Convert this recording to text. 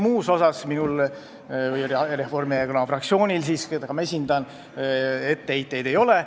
Muus osas minul ja Reformierakonna fraktsioonil, keda ma esindan, etteheiteid ei ole.